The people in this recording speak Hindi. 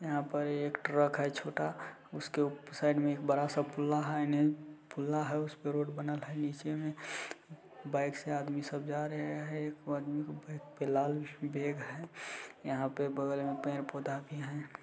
यहाँ पर एक ट्रक है छोटा उसके साइड में बड़ा सा पुल है उसपे रोड बना हुआ है नीचे बाइक से आदमी सब जा रहे है एक आदमी का बाइक पाई लाल बैग है यहाँ पे बगल में पेड़ पौधा भी है ।